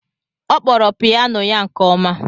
Ọ kpọrọ piyano ya nke ọma.